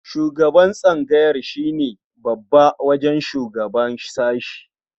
Shugaban tsangaya shi ne babba wajen shugaba sashe.